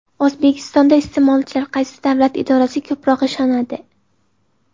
O‘zbekistonda iste’molchilar qaysi davlat idorasiga ko‘proq ishonadi?.